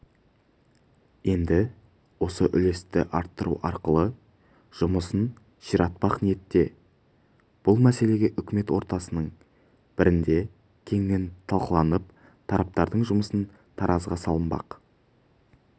енді осы үлесті арттыру арқылы жұмысын ширатпақ ниетте бұл мәселе үкімет отырыстарының бірінде кеңінен талқыланып тараптардың жұмысы таразыға салынбақ